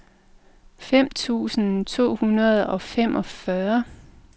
fem tusind to hundrede og femogfyrre